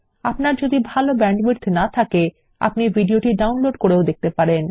আপনার যদি ভাল ব্যান্ডউইডথ না থাকে আপনি ভিডিওটি ডাউনলোড করেও দেখতে পারেন